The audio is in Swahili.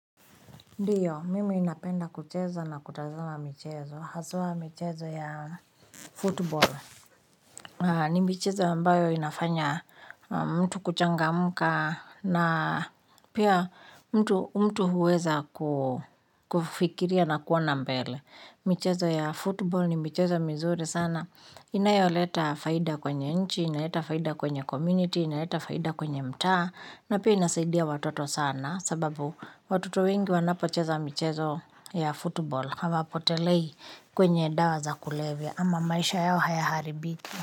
Ndiyo, mimi ninapenda kucheza na kutazama michezo. Haswa mchezo ya football. Ni michezo ambayo inafanya mtu kuchangamuka na pia mtu huweza kufikiria na kuona mbele. Michezo ya football ni michezo mizuri sana. Inayoleta faida kwenye nchi, inaleta faida kwenye community, inaleta faida kwenye mta. Na pia inasaidia watoto sana sababu watoto wengi wanapocheza michezo ya football hawa apotelei kwenye dawa za kulevya ama maisha yao haya haribiki.